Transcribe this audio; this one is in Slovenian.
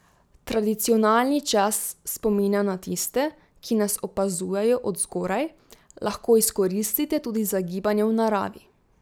Tradicionalni čas spomina na tiste, ki nas opazujejo od zgoraj, lahko izkoristite tudi za gibanje v naravi.